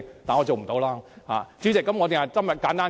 代理主席，我今天只會簡單發言。